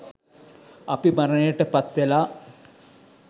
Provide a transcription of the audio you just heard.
අපි මරණයට පත්වෙලා